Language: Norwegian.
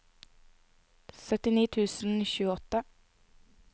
syttini tusen og tjueåtte